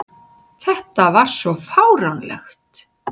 Þetta var svo fáránlegt!